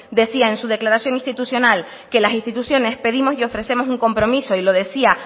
decía en su declaración institucional que las instituciones pedimos y ofrecemos un compromiso y lo decía